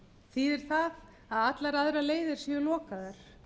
þýðir það að allar aðrar leiðir séu lokaðar